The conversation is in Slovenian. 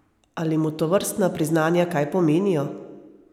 Ali mu tovrstna priznanja kaj pomenijo?